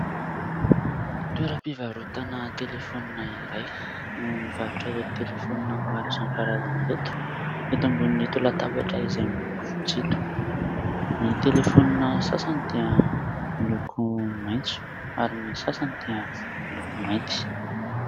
Toeram-pivarotana telefônina iray no mivarotra ireto telefônina maro isankarazany ireto eto ambonin'ito latabatra izay miloko fotsy ito. Ny telefônina sasany dia miloko maitso ary ny sasany dia miloko mainty.